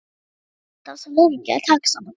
Maður er alltaf svo lengi að taka saman.